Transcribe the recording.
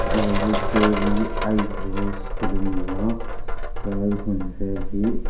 aw hi hi K V aizawl school a ni a tlai hmun vel hi.